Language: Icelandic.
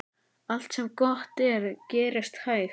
Allt sem gott er gerist hægt.